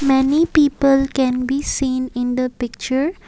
many people can be seen in the picture.